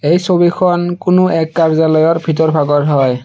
এই ছবিখন কোনো এক কাৰ্য্যালয়ৰ ভিতৰ ভাগৰ হয়।